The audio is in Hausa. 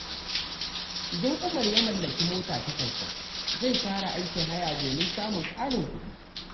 Idan Umar ya mallaki mota ta kansa, zai fara aikin haya domin samun ƙarin kuɗi.